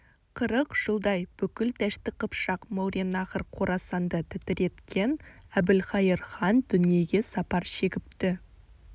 қырық жылдай бүкіл дәшті қыпшақ мауреннахр қорасанды тітіреткен әбілқайыр хан дүниеге сапар шегіпті